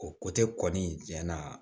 O kɔni cɛn na